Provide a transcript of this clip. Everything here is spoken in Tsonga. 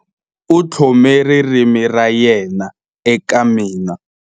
U tlhome ririmi ra yena eka mina.